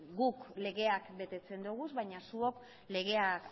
guk legeak betetzen ditugu baina zuok legea